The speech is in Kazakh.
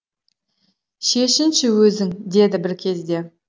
шешінші өзің деді бір кезде